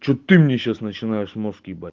что ты мне сейчас начинаешь мозг ебать